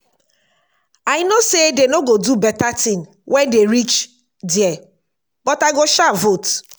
i know say dey no go do beta thing wen dey reach there but i go sha vote